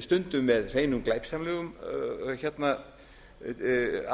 stundum með hreinum glæpsamlegum